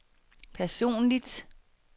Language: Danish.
personligt